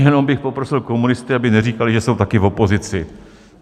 Jenom bych poprosil komunisty, aby neříkali, že jsou taky v opozici.